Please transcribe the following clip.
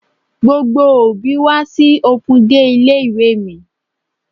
Gbogbo òbí wá sí open day ilé ìwé mi.